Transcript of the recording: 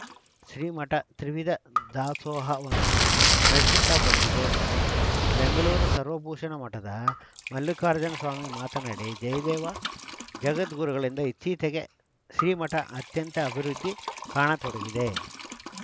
ಶ್ರೀಮಠ ತ್ರಿವಿಧ ದಾಸೋಹವನ್ನು ನಡೆಸುತ್ತ ಬಂದಿದೆ ಎಂದರು ಬೆಂಗಳೂರು ಸರ್ವಭೂಷಣ ಮಠದ ಮಲ್ಲಿಕಾರ್ಜುನ ಸ್ವಾಮೀಜಿ ಮಾತನಾಡಿ ಜಯದೇವ ಜಗದ್ಗುರುಗಳಿಂದ ಇತ್ತೀಚೆಗೆ ಶ್ರೀಮಠ ಅತ್ಯಂತ ಅಭಿವೃದ್ಧಿ ಕಾಣತೊಡಗಿದೆ